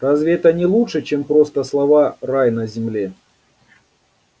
разве это не лучше чем просто слова рай на земле